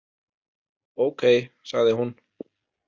Ókei, sagði hún.